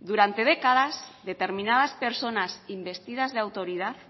durante décadas determinadas personas investidas de autoridad